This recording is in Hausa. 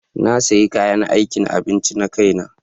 Na sayi kayan aikin abinci na kaina.